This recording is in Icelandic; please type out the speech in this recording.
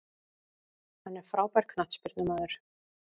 Hann er frábær knattspyrnumaður.